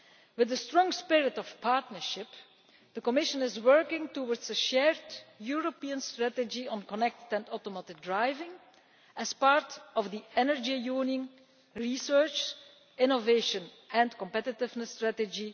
With a strong spirit of partnership, the Commission is working towards a shared European strategy on connected and automated driving as part of the energy union, research, innovation and competitiveness strategy.